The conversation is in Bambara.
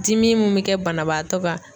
Dimi min bɛ kɛ banabaatɔ ka